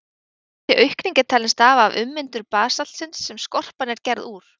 Þessi aukning er talin stafa af ummyndun basaltsins sem skorpan er gerð úr.